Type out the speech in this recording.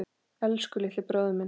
Elsku litli bróðir minn.